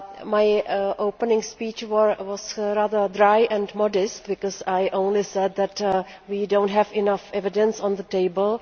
My opening speech was rather dry and modest because I only said that we do not have enough evidence on the table.